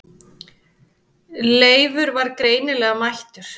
Leifur var greinilega mættur.